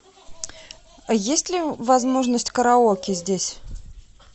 есть ли возможность караоке здесь